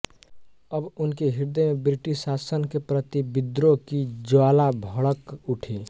अब उनके हृदय में ब्रिटिश शासन के प्रति विद्रोह की ज्वाला भड़क उठी